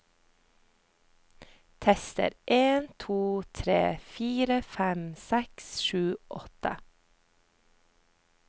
Tester en to tre fire fem seks sju åtte